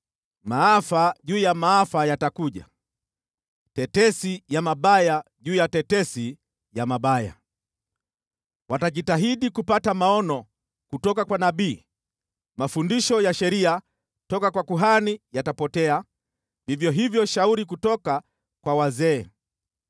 Maafa juu ya maafa yatakuja, tetesi ya mabaya juu ya tetesi ya mabaya. Watajitahidi kupata maono kutoka kwa nabii, mafundisho ya sheria toka kwa kuhani yatapotea, vivyo hivyo shauri kutoka kwa wazee.